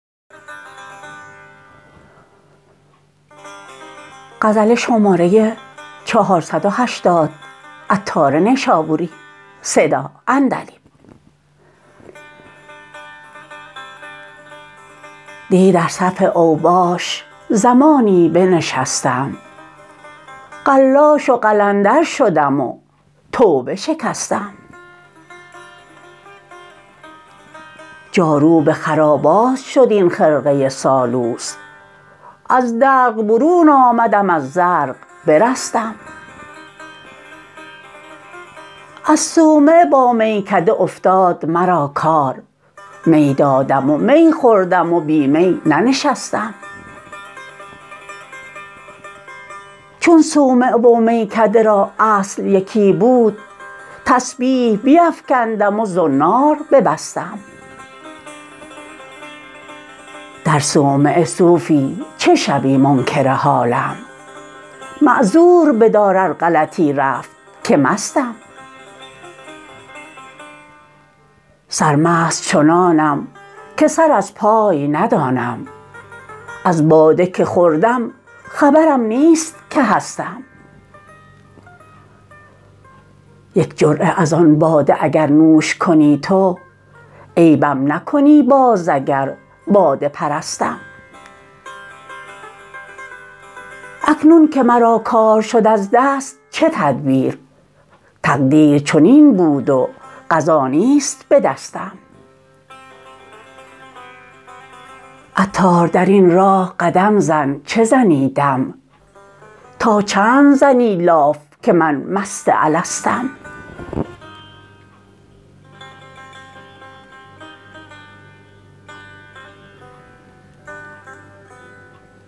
دی در صف اوباش زمانی بنشستم قلاش و قلندر شدم و توبه شکستم جاروب خرابات شد این خرقه سالوس از دلق برون آمدم از زرق برستم از صومعه با میکده افتاد مرا کار می دادم و می خوردم و بی می ننشستم چون صومعه و میکده را اصل یکی بود تسبیح بیفکندم و زنار ببستم در صومعه صوفی چه شوی منکر حالم معذور بدار ار غلطی رفت که مستم سرمست چنانم که سر از پای ندانم از باده که خوردم خبرم نیست که هستم یک جرعه از آن باده اگر نوش کنی تو عیبم نکنی باز اگر باده پرستم اکنون که مرا کار شد از دست چه تدبیر تقدیر چنین بود و قضا نیست به دستم عطار درین راه قدم زن چه زنی دم تا چند زنی لاف که من مست الستم